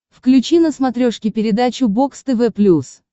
включи на смотрешке передачу бокс тв плюс